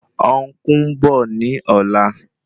Ọn̄kú ń bọ̀ ní ọ̀la